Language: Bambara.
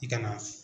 I ka na